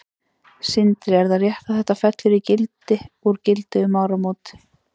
Sindri: Er það rétt að þetta fellur í gildi úr gildi um áramót?